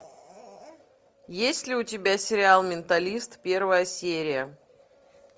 есть ли у тебя сериал менталист первая серия